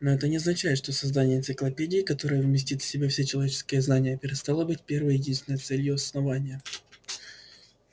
но это не означает что создание энциклопедии которая вместит в себя все человеческие знания перестало быть первой и единственной целью основания